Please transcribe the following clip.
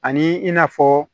Ani i n'a fɔ